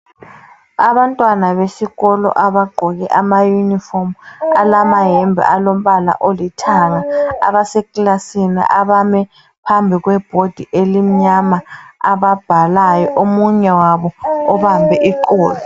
Abantwana besikolo abagqoke amayunifomu alamayembe alombala olithanga abaseklasini, abame phambi kwebhodi elimnyama ababhalayo. Omunye wabo ubambe iqolo.